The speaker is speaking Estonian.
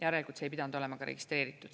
Järelikult see ei pidanud olema registreeritud.